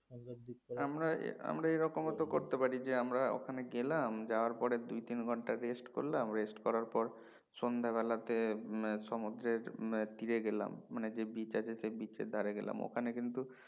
আমরা আমরা এরকমও তো করতে পারি যে আমরা ওখানে গেলাম যাওয়ার পরে দুই তিন ঘন্টা rest করলাম rest করার পর সন্ধাবেলাতে হম সমুদ্রের হম তীরে গেলাম মানে যে beach আছে সেই beach এর ধরে গেলাম ওখানে কিন্তু